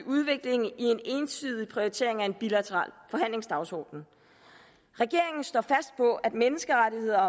udvikling i en ensidig prioritering af en bilateral forhandlingsdagsorden regeringen står fast på at menneskerettigheder